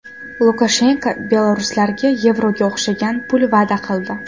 Lukashenko beloruslarga yevroga o‘xshagan pul va’da qildi.